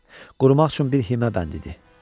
Qurumaq üçün bir himə bənd idi.